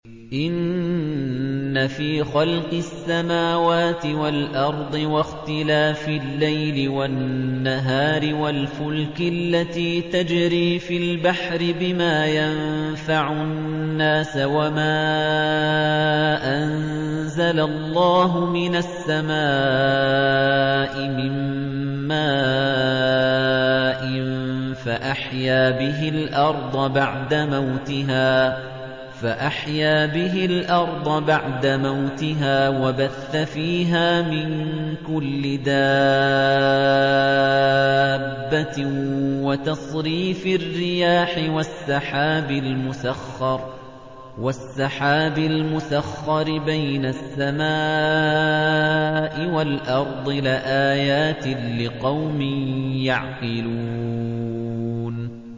إِنَّ فِي خَلْقِ السَّمَاوَاتِ وَالْأَرْضِ وَاخْتِلَافِ اللَّيْلِ وَالنَّهَارِ وَالْفُلْكِ الَّتِي تَجْرِي فِي الْبَحْرِ بِمَا يَنفَعُ النَّاسَ وَمَا أَنزَلَ اللَّهُ مِنَ السَّمَاءِ مِن مَّاءٍ فَأَحْيَا بِهِ الْأَرْضَ بَعْدَ مَوْتِهَا وَبَثَّ فِيهَا مِن كُلِّ دَابَّةٍ وَتَصْرِيفِ الرِّيَاحِ وَالسَّحَابِ الْمُسَخَّرِ بَيْنَ السَّمَاءِ وَالْأَرْضِ لَآيَاتٍ لِّقَوْمٍ يَعْقِلُونَ